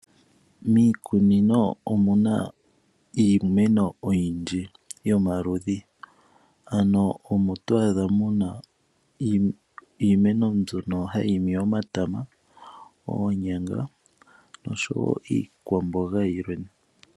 Miikunino omuna iimeno oyindji yomaludhi ano omo twaadha iimeno mbyono hayi imi omatama, oonyanga noshowo iikwamboga yiliwe.